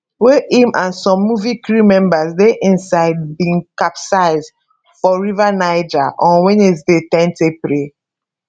wey im and some movie crew members dey inside bin capsize for river niger on wednesday ten april